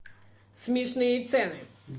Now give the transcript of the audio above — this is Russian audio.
смешные цены